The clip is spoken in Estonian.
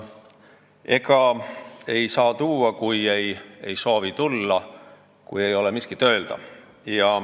Ega ei saa tuua, kui ei soovi tulla ja ei ole miskit öelda.